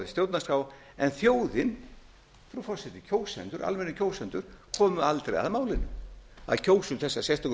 stjórnarskrá en þjóðin frú forseti kjósendur almennir kjósendur komu aldrei að málinu að kjósa um þessa sérstöku